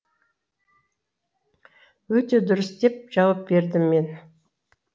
өте дұрыс деп жауап бердім мен